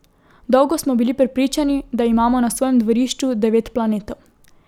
Dolgo smo bili prepričani, da imamo na svojem dvorišču devet planetov.